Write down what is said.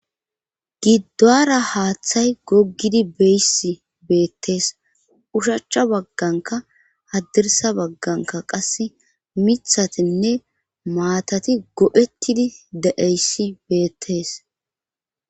giddoara haaththay gogidi beyssi beettees ushachcha bagganka haddirsa bagganka qase mithatinne maatati gophettidi de'eyssi beettees